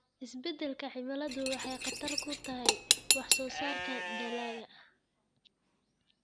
Isbeddelka cimiladu waxay khatar ku tahay wax soo saarka dalagga.